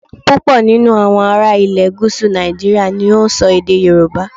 Púpọ̀ nínú àwọn ará ilè gúúsù Nàìjíríà ni ó n so èdè Yorùbá